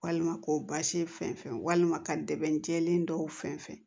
Walima k'o basi fɛn fɛn walima ka dɛmɛn jɛlen dɔw fɛn fɛn